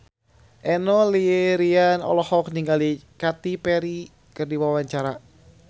Enno Lerian olohok ningali Katy Perry keur diwawancara